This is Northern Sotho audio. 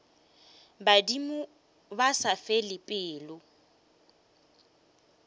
badimo ba sa fele pelo